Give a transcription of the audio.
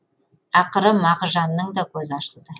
ақыры мағжанның да көзі ашылды